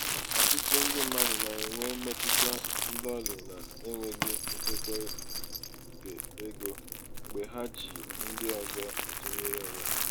ọtụtụ ndị mmadụ na-enwe mmetụta ndọlị n'enweghị nchekwa keego mgbe ha ji ndị ọzọ atụnyere onwe ha.